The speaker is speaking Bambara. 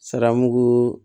Sara mugu